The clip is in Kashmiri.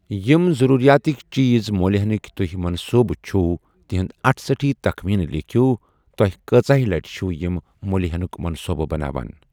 یِم ضروریاتٕکۍ چیز مٔلۍ ہینٕکۍ تُہۍ منصوبہٕ چِھو تِہند اٹھ سٹی تخمینہٕ لیكھِو، تۄہہِ كٲژاہہِ لٹہِ چھِو یِم مٔلۍ ہینُک منصوبہٕ بناوان ۔